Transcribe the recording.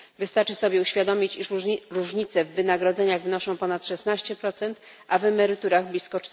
Wystarczy sobie uświadomić, że różnice w wynagrodzeniach wynoszą ponad 16, a w emeryturach blisko